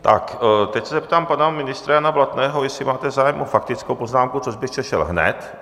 Tak teď se zeptám pana ministra Jana Blatného, jestli máte zájem o faktickou poznámku, což byste šel hned.